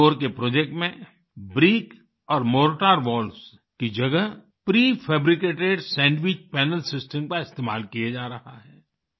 इंदौर के प्रोजेक्ट में ब्रिक और मोर्टार वॉल्स की जगह प्रीफैब्रिकेटेड सैंडविच पनेल सिस्टम का इस्तेमाल किया जा रहा है